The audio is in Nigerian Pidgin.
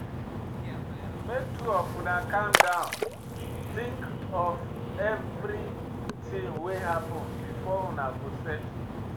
Make two of una calm down tink of everytin wey happen before una go settle.